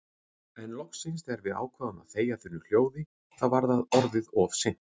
En loksins þegar við ákváðum að þegja þunnu hljóði þá var það orðið of seint.